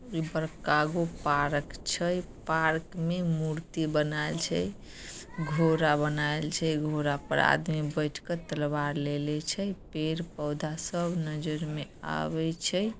Park छै park में मूर्ति बनाएल छै घोड़ा बनाएल छै घोड़ा पर आदमी बैठ के तलवार लेले छै। पेड़-पौधा सब नज़र में आवे छै ।